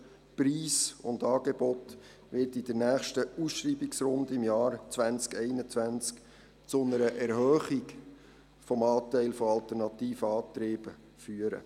Preis und Angebot wird in der nächsten Ausschreibungsrunde im Jahr 2021 zu einer Erhöhung des Anteils der alternativen Antriebe führen.